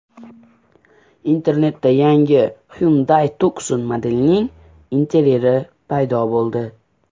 Internetda yangi Hyundai Tucson modelining interyeri surati paydo bo‘ldi.